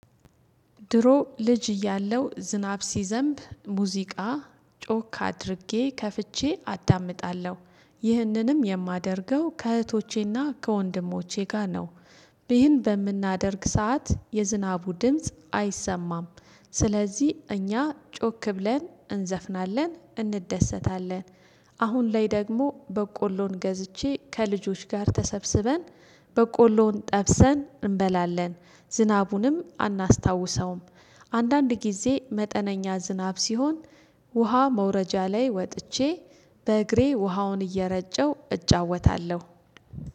ድሮ ልጅ እያለሁ ዝናብ ሲዘንብ ሙዚቃ ጮክ አድርጌ ከፍቼ አዳምጣለሁ። ይህንንም የማደርገው ከእህቶቼና ከወንድሞቼ ጋር ነው ይህን በምናደርግ ሰዓት የዝናቡ ድምጽ አይሰማም ስለዚህ እኛ ጮክ ብለን እንዘፍናለን እንደሰታለን አሁን ላይ ደግሞ በቆሎን ገዝቼ ከልጆች ጋር ተሰብስበን በቆሎን ጠብሰን እንበላለን። ዝናቡንም አናስታውሰውም አንዳንድ ጊዜ መጠነኛ ዝናብ ሲሆን ውሃ መውረጃ ላይ ወጥቼ በእግሬ ውሃውን እየረጨው እጫወታለሁ።